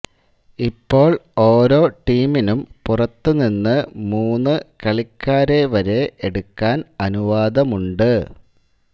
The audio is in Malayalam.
ഇപ്പോൾ ഓരോ ടീമിനും പുറത്തു നിന്നു മൂന്നു കളിക്കാരെ വരെ എടുക്കാൻ അനുവാദമുണട്